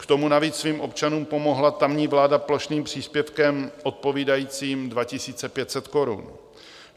K tomu navíc svým občanům pomohla tamní vláda plošným příspěvkem odpovídajícím 2 500 korun.